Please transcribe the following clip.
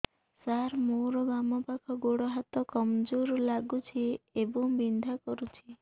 ସାର ମୋର ବାମ ପାଖ ଗୋଡ ହାତ କମଜୁର ଲାଗୁଛି ଏବଂ ବିନ୍ଧା କରୁଛି